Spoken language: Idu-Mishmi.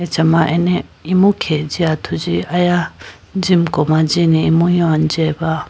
achama ane imu khege jiya athuji aya jimko ma jine imu yoy jiba.